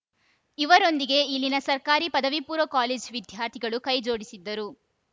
ಇವರೊಂದಿಗೆ ಇಲ್ಲಿನ ಸರ್ಕಾರಿ ಪದವಿಪೂರ್ವ ಕಾಲೇಜು ವಿದ್ಯಾರ್ಥಿಗಳು ಕೈ ಜೋಡಿಸಿದ್ದರು